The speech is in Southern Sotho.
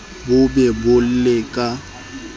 bo be bo le ka